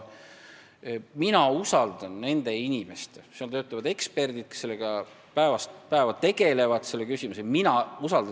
Seal töötavad eksperdid, kes päevast päeva selle küsimusega tegelevad.